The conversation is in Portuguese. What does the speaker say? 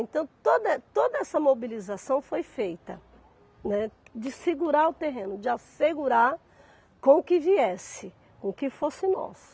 Então, toda eh toda essa mobilização foi feita, né, de segurar o terreno, de assegurar com o que viesse, com que fosse nosso.